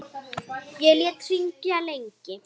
Ég lét hringja lengi.